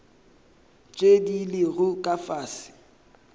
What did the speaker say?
tše di lego ka fase